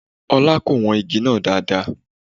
Ọlá kò wọn igi náà dáadáa.